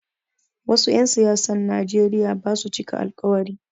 Wasu 'yan siyasan Nijeriya basu cika alkawari